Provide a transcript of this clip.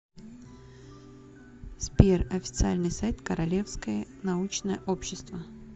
сбер официальный сайт королевское научное общество